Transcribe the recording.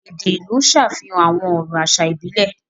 Èdè ìlú ń ṣàfihàn àwọn ọ̀rọ̀ àṣà ìbílẹ̀.